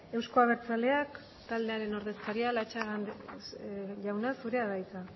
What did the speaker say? euzko abertzaleak taldearen ordezkaria latxaga jauna zurea da hitza